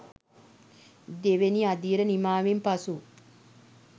දෙවැනි අදියර නිමාවෙන් පසු